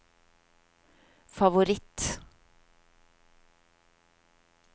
favoritt